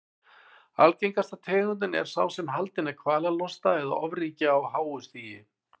Algengasta tegundin er sá sem haldinn er kvalalosta eða ofríki á háu stigi.